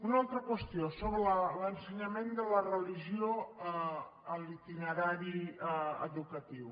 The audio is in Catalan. una altra qüestió sobre l’ensenyament de la religió a l’itinerari educatiu